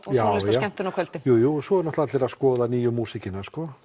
skemmtun á kvöldin jú jú svo eru allir að skoða nýju músíkina